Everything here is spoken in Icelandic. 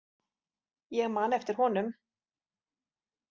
Ég man eftir honum.